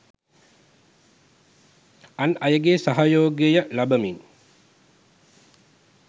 අන් අයගේ සහයෝගය ලබමින්